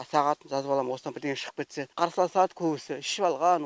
сағатын жазып алам осыдан бірдеңе шығып кетсе қарсыласады көбісі ішіп алған